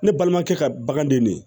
Ne balimakɛ ka baganden ne